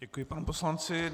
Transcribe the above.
Děkuji panu poslanci.